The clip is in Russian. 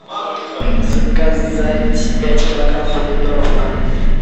заказать пять килограмм помидоров на дом